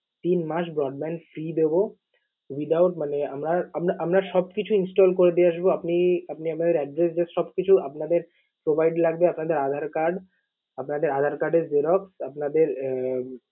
তিন মাস broadband free দেব without মানে আমরা আমরা আমরা সব কিছু install করে দিয়ে আসব। আপনি আপনাদের address just সবকিছু আপনাদের provide লাগবে, আপনাদের আধার card, আপনাদের আধার card এর xerox, আপনাদের আহ